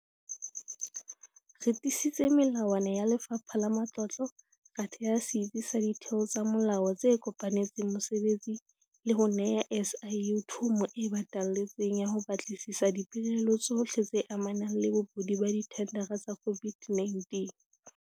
Re tiisitse melawana ya Lefapha la Matlotlo, ra theha setsi sa ditheo tsa molao tse kopanetseng mosebetsi le ho neha SIU thomo e batalletseng ya ho batlisisa dipelaelo tsohle tse amanang le bobodu ba dithendara tsa COVID-19.